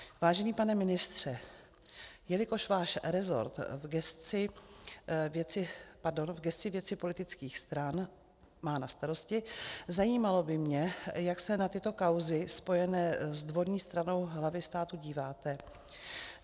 Vážený pane ministře, jelikož váš resort v gesci věci politických stran má na starosti, zajímalo by mě, jak se na tyto kauzy spojené s dvorní stranou hlavy státu díváte.